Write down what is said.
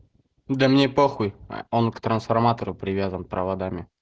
да мне похуй он к трансформатору привязан проводами